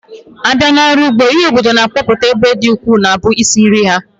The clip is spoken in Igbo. Abịa n'ọrụ ụgbọ, ihe obodo na-akọpụta ebe ọ dị ukwuu na-abụ isi nri ha